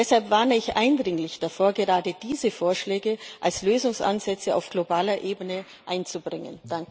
Deshalb warne ich eindringlich davor, gerade diese Vorschläge als Lösungsansätze auf globaler Ebene einzubringen.